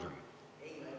Kohtume homme!